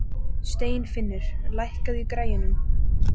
Steinfinnur, lækkaðu í græjunum.